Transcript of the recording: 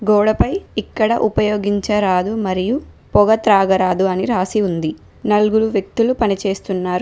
గోడపై ఇక్కడ ఉపయోగించరాదు మరియు పొగ త్రాగరాదు అని రాసి ఉంది నలుగురు వ్యక్తులు పనిచేస్తున్నారు.